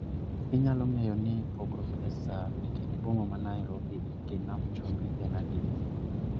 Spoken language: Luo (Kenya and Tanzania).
Inyalo ng'eyo ni pogruok e saa ekind boma ma nairobi gi nam chumbi en adi